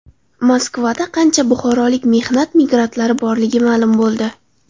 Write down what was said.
Moskvada qancha buxorolik mehnat migrantlari borligi ma’lum bo‘ldi.